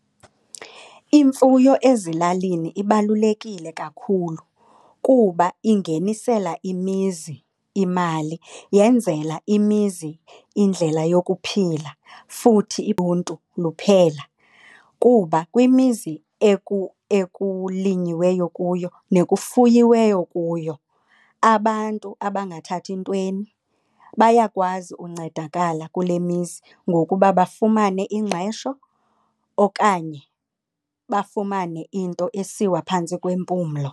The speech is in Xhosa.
Imfuyo ezilalini ibalulekile kakhulu kuba ingenisela imizi imali. Yenzela imizi indlela yokuphila futhi luphela kuba kwimizi ekulinyiweyo kuyo nekufuyiweyo kuyo. Abantu abangathathi ntweni bayakwazi uncedakala kule mizi ngokuba bafumane ingqesho okanye bafumane into esiwa phantsi kwempumlo.